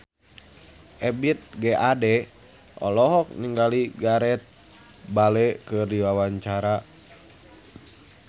Ebith G. Ade olohok ningali Gareth Bale keur diwawancara